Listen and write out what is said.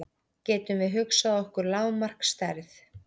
Getum við hugsað okkur lágmarksstærð?